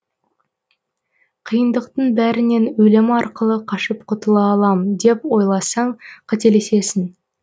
қиындықтың бәрінен өлім арқылы қашып құтыла алам деп ойласаң қателесесің